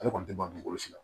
Ale kɔni tɛ ban dugukolo si la